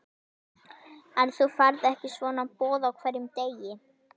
En þú færð ekki svona boð á hverjum degi.